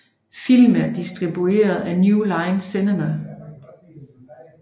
Filmen er distribueret af New Line Cinema